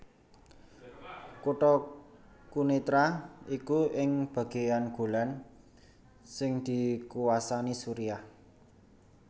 Kutha Quneitra iku ing bagéyan Golan sing dikuwasani Suriah